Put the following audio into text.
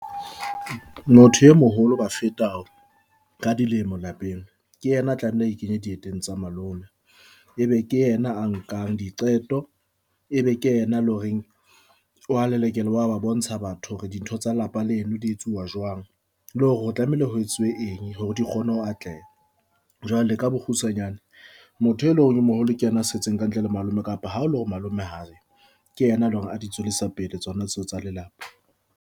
Motho e moholo ho bafeta ka dilemo lapeng. Ke yena a tlamehile a ikenye dieteng tsa malome e be ke yena a nkang diqeto, e be ke yena le horeng wa lelekela, wa ba bontsha batho hore dintho tsa lelapa leno di etsuwa jwang le hore o tlamehile ho etsuwe eng hore di kgone ho atleha. Jwale ka bokgutshwanyane, motho e leng hore o moholo ke yena a setseng ka ntle le ho malome kapa ha o le hore malome ha ayo ke ena e leng hore a di tswelesa pele tsona tseo tsa lelapa.